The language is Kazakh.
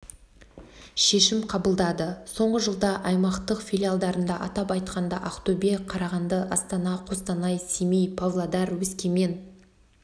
шешім қабылдады соңғы жылда аймақтық филиалдарында атап айтқанда ақтөбе қарағанды астана қостанай семей павлодар өскемен